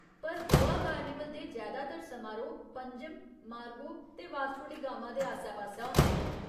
पर गोवा कार्निवल दे जैदातर समारोह् पंजिम, मार्गो ते वास्को डी गामा दे आस्सै पास्सै होंदे न।